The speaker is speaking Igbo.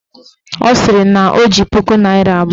Ọ sịrị na o ji puku naịra abụọ